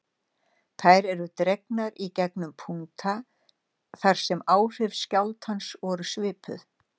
Þær eru dregnar í gegnum punkta þar sem áhrif skjálftans voru svipuð.